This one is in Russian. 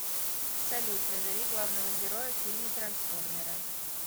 салют назови главного героя в фильме трансформеры